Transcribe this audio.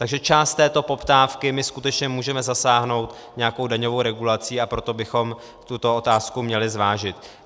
Takže část této poptávky my skutečně můžeme zasáhnout nějakou daňovou regulací, a proto bychom tuto otázku měli zvážit.